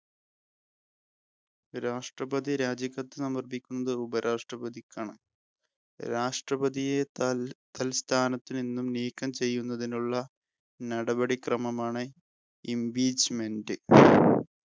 രാഷ്‌ട്രപതി രാജിക്കത്ത് സമർപ്പിക്കുന്നത് ഉപരാഷ്ട്രപതിക്കാണ്. രാഷ്ട്രപതിയെ തൽ തൽസ്ഥാനത്തു നിന്ന് നീക്കം ചെയ്യുന്ന നടപടിക്രമം ആണ് Impeachment